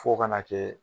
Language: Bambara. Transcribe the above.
Fo ka na kɛ